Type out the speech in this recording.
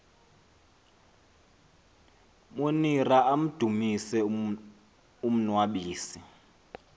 monira amdumise umnnwabisi